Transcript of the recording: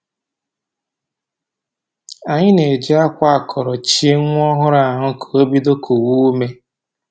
Anyị na-ejị akwa akọrọ chie nwa ọhụrụ ahụ ka o bido kuwe ume